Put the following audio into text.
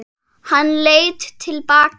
Hann leit til baka.